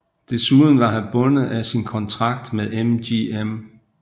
Desuden var han bundet af sin kontrakt med MGM